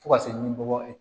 Fo ka se ni bɔkɔ ye